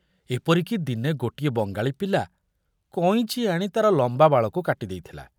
ଏପରିକି ଦିନେ ଗୋଟିଏ ବଙ୍ଗାଳୀ ପିଲା କଇଁଚି ଆଣି ତାର ଲମ୍ବା ବାଳକୁ କାଟି ଦେଇଥିଲା।